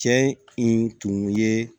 Cɛ in tun ye